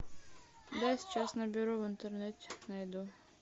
я сейчас наберу в интернете найду